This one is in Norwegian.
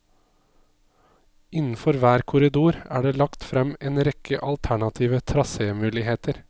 Innenfor hver korridor er det lagt frem en rekke alternative trasémuligheter.